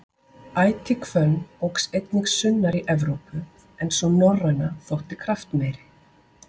Ætihvönn óx einnig sunnar í Evrópu en sú norræna þótti kraftmeiri.